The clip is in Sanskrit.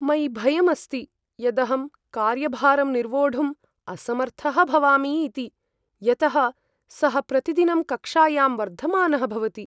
मयि भयम् अस्ति यदहं कार्यभारं निर्वोढुम् असमर्थः भवामि इति, यतः सः प्रतिदिनं कक्षायां वर्धमानः भवति।